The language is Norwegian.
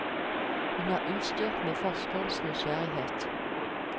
Hun er utstyrt med forskerens nysgjerrighet.